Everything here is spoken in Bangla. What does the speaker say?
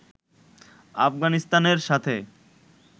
আফগানিস্তানের সাথে